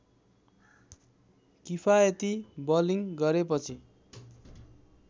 किफायती बलिङ गरेपछि